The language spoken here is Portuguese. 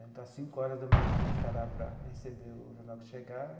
Então, às cinco horas da manhã, tinha que estar lá para receber o jornal que chegava.